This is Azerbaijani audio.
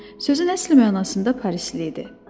Sözün əsl mənasında parisli idi.